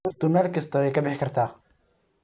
Dhirtu meel kasta way ka bixi kartaa.